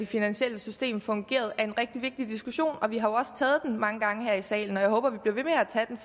finansielle system fungerede er en rigtig vigtig diskussion vi har også taget den mange gange her i salen og jeg håber